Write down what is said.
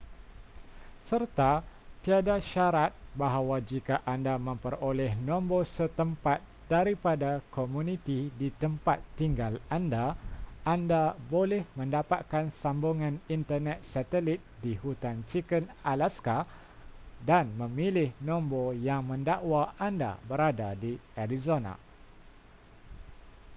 serta tiada syarat bahawa jika anda memperoleh nombor setempat daripada komuniti di tempat tinggal anda anda boleh mendapatkan sambungan internet satelit di hutan chicken alaska dan memilih nombor yang mendakwa anda berada di arizona